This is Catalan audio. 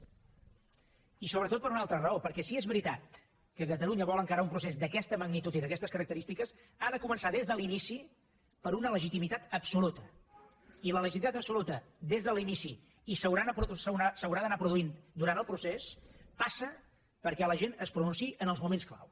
i sobretot per una altra raó perquè si és veritat que catalunya vol encarar un procés d’aquesta magnitud i d’aquestes característiques ha de començar des de l’inici per una legitimitat absoluta i la legitimitat absoluta des de l’inici i s’haurà d’anar produint durant el procés passa perquè la gent es pronunciï en els moments clau